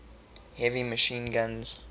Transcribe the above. heavy machine guns